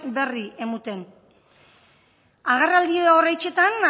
berri emoten agerraldi horrexetan